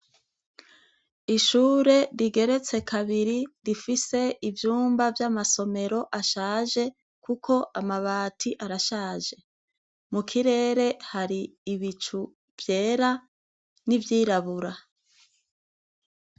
Ishure rigeretse kabiri rifise ivyumba vy'amasomero ashaje, kuko amabati arashaje. Mukirere hari ibicu vyera, n'ivyirabura.